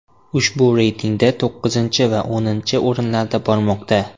Ushbu reytingda to‘qqizinchi va o‘ninchi o‘rinlarda bormoqda.